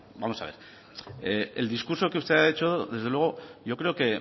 vamos a ver el discurso que usted ha hecho desde luego yo creo que